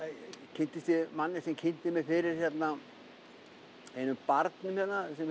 kynntist ég manni sem kynnti mig fyrir einum barnum hérna sem